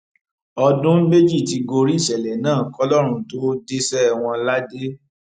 ọdún méjì ti gorí ìṣẹlẹ náà kọlọrun tóó dẹṣẹ wọn ládé